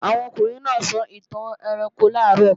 Àwọn ọkùnrin náà sọ ìtàn ẹranko làárọ̀